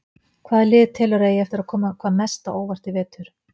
Hvaða lið telurðu að eigi eftir að koma hvað mest á óvart í vetur?